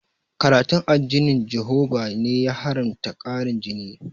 Karatun addinin jihoba ne ya haramta ƙarin jini